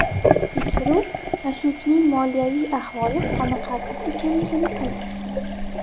Tekshiruv tashuvchining moliyaviy ahvoli qoniqarsiz ekanligini ko‘rsatdi.